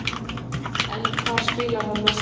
En hvar spilar hann næsta sumar?